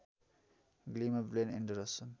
ग्लीमा Blaine Anderson